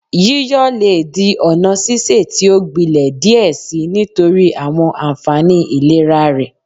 Yiyọ le di ọna sise ti o gbilẹ diẹ sii nitori awọn anfani ilera rẹ